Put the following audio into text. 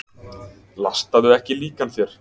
Lastaðu ekki líkan þér.